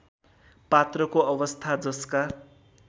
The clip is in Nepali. पात्रको अवस्था जसका